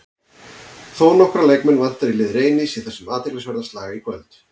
Þónokkra leikmenn vantar í lið Reynis í þessum athyglisverða slag í kvöld.